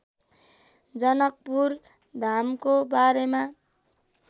जनकपुरधामको बारेमा